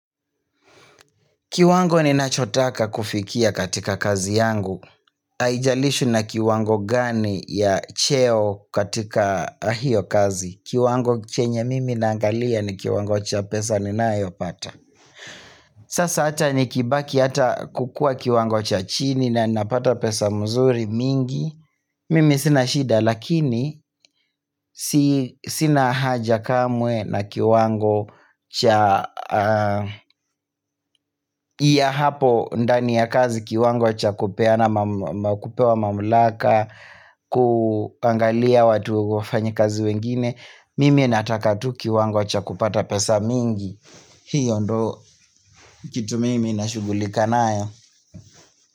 Kiwango ni nachotaka kufikia katika kazi yangu haijalishi na kiwango gani ya cheo katika hiyo kazi. Kiwango chenye mimi naangalia ni kiwango cha pesa ninayopata Sasa hata nikibaki hata kukua kiwango cha chini na napata pesa mzuri mingi mimi sina shida lakini sina haja kamwe na kiwango cha ya hapo ndani ya kazi kiwango chakupeana ama kupewa mamlaka kuangalia watu wafanyakazi wengine. Mimi nataka tu kiwango chakupata pesa mingi hiyo ndo kitu mimi nashughulika nayo.